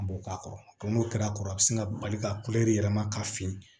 An b'o k'a kɔrɔ n'o kɛra a kɔrɔ a bɛ sin ka bali ka yɛlɛma ka fin